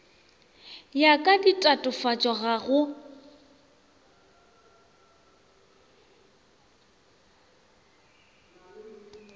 ya ka ditatofatšo ga go